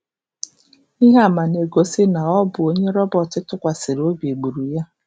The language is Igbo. Ihe ama na-egosi na ọ bụ onye Robert tụkwasịrị obi gburu ya.